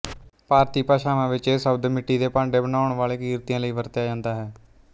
ਭਾਰਤੀ ਭਾਸ਼ਾਵਾਂ ਵਿੱਚ ਇਹ ਸ਼ਬਦ ਮਿੱਟੀ ਦੇ ਭਾਂਡੇ ਬਣਾਉਣ ਵਾਲੇ ਕਿਰਤੀਆਂ ਲਈ ਵਰਤਿਆ ਜਾਂਦਾ ਹੈ